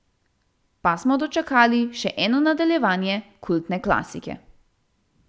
Pa smo dočakali še eno nadaljevanje kultne klasike.